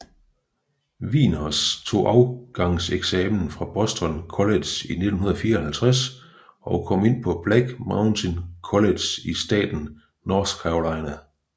Wieners tog afgangseksamen fra Boston College i 1954 og kom ind på Black Mountain College i staten North Carolina